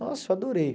Nossa, eu adorei.